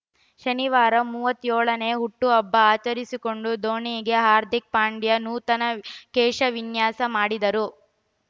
ಶನಿವಾರ ಮೂವತ್ತೆಳು ನೇ ಹುಟ್ಟುಹಬ್ಬ ಆಚರಿಸಿಕೊಂಡ ಧೋನಿಗೆ ಹಾರ್ದಿಕ್‌ ಪಾಂಡ್ಯ ನೂತನ ಕೇಶವಿನ್ಯಾಸ ಮಾಡಿದರು